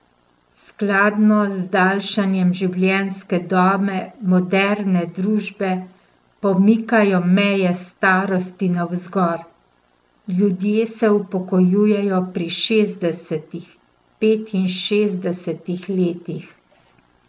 Skladno z daljšanjem življenjske dobe moderne družbe pomikajo meje starosti navzgor, ljudje se upokojujejo pri šestdesetih, petinšestdesetih letih.